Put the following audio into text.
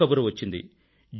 గొప్ప కబురు వచ్చింది